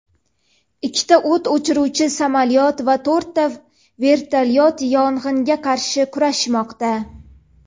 ikkita o‘t o‘chiruvchi samolyot va to‘rtta vertolyot yong‘inga qarshi kurashmoqda.